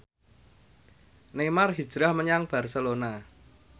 Neymar hijrah menyang Barcelona